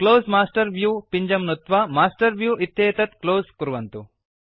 close master view पिञ्जं नुत्वा master view इत्येतत् क्लोज़ कुर्वन्तु